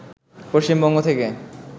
পশ্চিমবঙ্গ থেকে